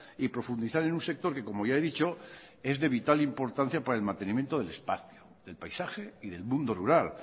y profundizar en un sector que como ya he dicho es de vital importancia para el mantenimiento del espacio del paisaje y del mundo rural